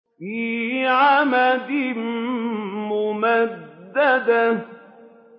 فِي عَمَدٍ مُّمَدَّدَةٍ